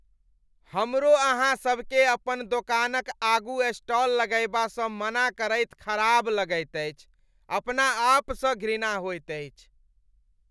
हमरो अहाँसभकेँ अपन दोकानक आगू स्टाल लगयबासँ मना करैत खराब लगैत अछि, अपना आपसँ घृणा होयत अछि।